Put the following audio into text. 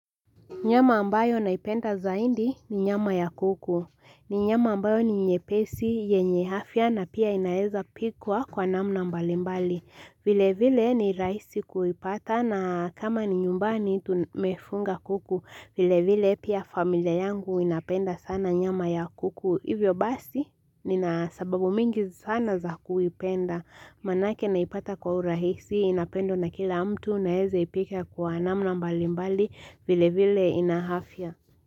Nyama ambayo naipenda zaindi ni nyama ya kuku, ni nyama ambayo ni nyepesi yenye afya na pia inaeza pikwa kwa namna mbalimbali Vilevile, ni rahisi kuipata na kama ni nyumbani tumefuga kuku, vilevile pia familia yangu inapenda sana nyama ya kuku hivyo basi nina sababu mingi sana za kuipenda Maanake naipata kwa urahisi inapendwa na kila mtu Naeza ipika kwa namna mbali mbali vile vile ina afia.